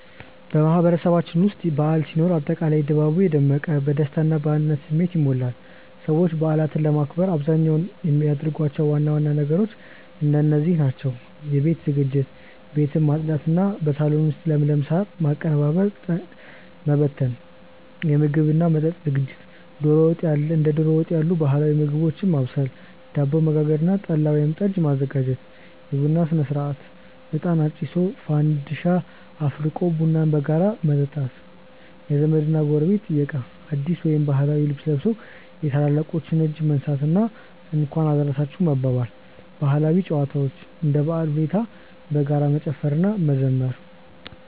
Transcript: በማህበረሰባችን ውስጥ በዓል ሲኖር አጠቃላይ ድባቡ የደመቀ፣ በደስታ እና በአንድነት ስሜት ይሞላል። ሰዎች በዓላትን ለማክበር በአብዛኛው የሚያደርጓቸው ዋና ዋና ነገሮች እንደዚህ ናቸው፦ የቤት ዝግጅት፦ ቤትን ማጽዳት እና በሳሎን ውስጥ ለምለም ሳር ማቀነባበርና ጠንቀቀ መበተን። የምግብ እና መጠጥ ዝግጅት፦ ዶሮ ወጥ ያሉ ባህላዊ ምግቦችን ማብሰል፣ ዳቦ መጋገር እና ጠላ ወይም ጠጅ ማዘጋጀት። የቡና ሥነ-ሥርዓት፦ እጣን አጭሶ፣ ፋንዲሻ አፍልቆ ቡናን በጋራ መጠጣት። የዘመድ እና ጎረቤት ጥየቃ፦ አዲስ ወይም ባህላዊ ልብስ ለብሶ የታላላቆችን እጅ መንሳት እና "እንኳን አደረሳችሁ" መባባል። ባህላዊ ጨዋታዎች፦ እንደ በዓሉ ሁኔታ በጋራ መጨፈር እና መዘመር።